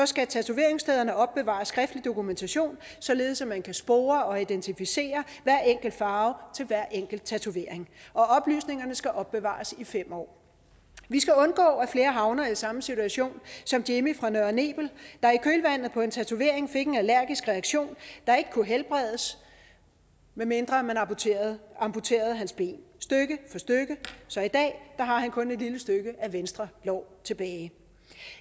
skal tatoveringsstederne opbevare skriftlig dokumentation således at man kan spore og identificere hver enkelt farve til hver enkelt tatovering oplysninger skal opbevares i fem år vi skal undgå at flere havner i samme situation som jimmy fra nørre nebel der i kølvandet på en tatovering fik en allergisk reaktion der ikke kunne helbredes medmindre man amputerede amputerede hans ben stykke for stykke så i dag har han kun et lille stykke af venstre lår tilbage